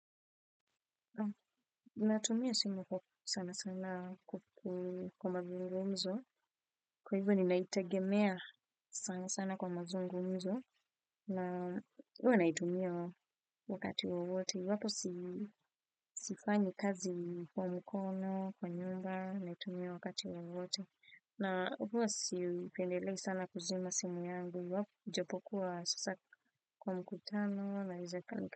Natumia simu sana sana kupu kwa mazungumzo. Kwa hivyo ni naitegemea sana sana kwa mazungumzo. Na huwa naitumia wakati wowote. Wapo sifanyi kazi kwa mkono, kwa nyumba, naitumia wakati wowote. Na huwa sipendelei sana kuzima simu yangu. Iwapo ujapokuwa sasa kwa mkutano naeza kanka.